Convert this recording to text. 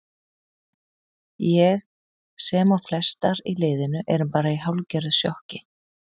Ég sem og flestar í liðinu erum bara í hálfgerðu sjokki.